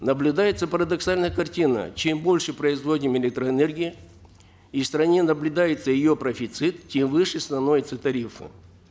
наблюдается парадоксальная картина чем больше производим электроэнергии и в стране наблюдается ее профицит тем выше становятся тарифы